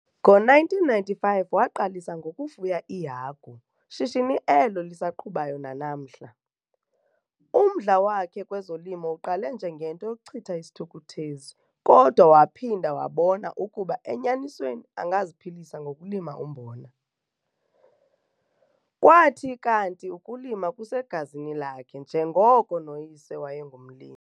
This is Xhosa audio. Ngo-1995 waqalisa ngokufuya iihagu, shishini elo lisaqhubayo nanamhla. Umdla wakhe kwezolimo uqale njengento yokuchitha isithukuthezi kodwa waphinda wabona ukuba enyanisweni angaziphilisa ngokulima umbona. Kwathi kanti ukulima kusegazini lakhe njengoko noyise wayengumlimi.